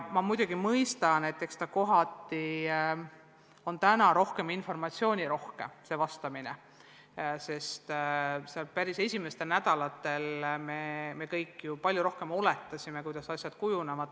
Ma muidugi mõistan, et kohati on täna vastamine informatsioonirohkem, sest päris esimestel nädalatel me kõik ju palju rohkem oletasime, kuidas asjad kujunevad.